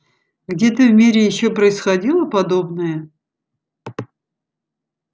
где-то в мире ещё происходило подобное